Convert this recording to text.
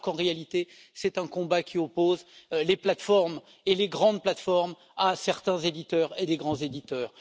alors qu'en réalité c'est un combat qui oppose les plateformes et les grandes plateformes à certains éditeurs et de grands éditeurs.